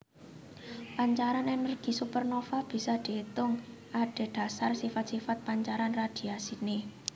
Pancaran ènèrgi supernova bisa diétung adhedhasar sifat sifat pancaran radhiasiné